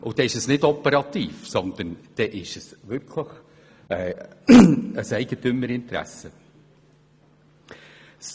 Das ist dann keine Einmischung in das operative Geschäft, sondern die Bekundung eines Eigentümerinteresses.